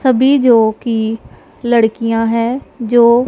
सभी जो कि लड़कियां हैं जो--